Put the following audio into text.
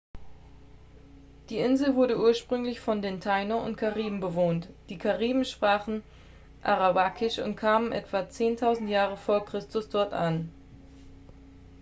die insel wurde ursprünglich von den taíno und kariben bewohnt. die kariben sprachen arawakisch und kamen etwa 10.000 jahre v. chr. dort an